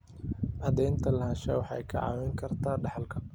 Cadaynta lahaanshaha waxay kaa caawin kartaa dhaxalka.